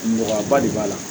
Nɔgɔya ba de b'a la